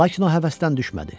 Lakin o həvəsdən düşmədi.